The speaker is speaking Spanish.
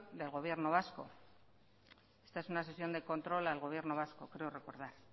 del gobierno vasco esta es una sesión de control al gobierno vasco creo recordar